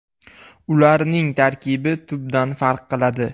Ularning tarkibi tubdan farq qiladi.